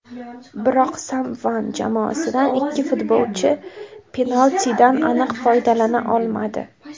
Biroq Simeone jamoasidan ikki futbolchi penaltidan aniq foydalana olmadi.